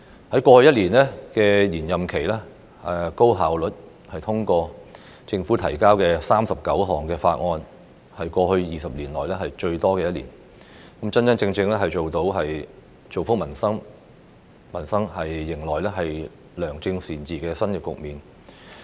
在過去一年的延任期，立法會高效地通過政府提交的39項法案，為過去20年來最多的一年，真真正正造福民生，開展良政善治的新局面。